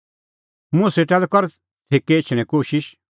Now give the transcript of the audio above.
मुंह सेटा लै कर छ़ेकै एछणें कोशिश